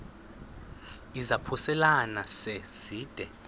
izaphuselana se zide